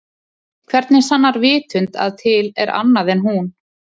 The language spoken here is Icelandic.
Hvernig sannar vitund að til er annað en hún?